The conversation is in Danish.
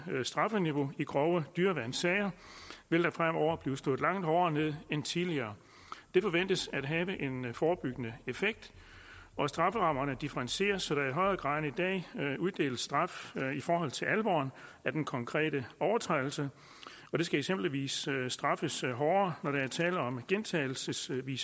straffeniveau i grove dyreværnssager vil der fremover blive slået langt hårdere ned end tidligere det forventes at have en forebyggende effekt at strafferammerne differentieres så der i højere grad end i dag uddeles straf i forhold til alvoren af den konkrete overtrædelse det skal eksempelvis straffes hårdere når der er tale om gentagelsestilfælde